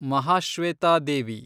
Mahashweta Devi